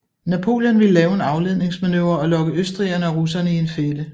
Napoleon ville lave en afledningsmanøvre og lokke østrigerne og russerne i en fælde